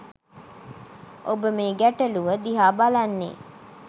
ඔබ මේ ගැටලුව දිහා බලන්නේ